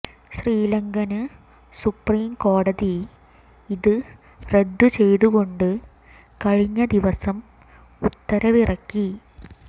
ശ്രീലങ്കന് സുപ്രീംകോടതി ഇത് റദ്ദു ചെയ്തു കൊണ്ട് കഴിഞ്ഞ ദിവസം ഉത്തരവിറക്കി